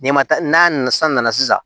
N'i ma taa n'a nana san nana sisan